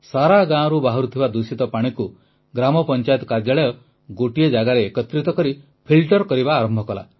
ସାରା ଗାଁରୁ ବାହାରୁଥିବା ଦୂଷିତ ପାଣିକୁ ଗ୍ରାମପଂଚାୟତ କାର୍ଯ୍ୟାଳୟ ଗୋଟିଏ ଜାଗାରେ ଏକତ୍ରିତ କରି ଫିଲ୍ଟର କରିବା ଆରମ୍ଭ କଲା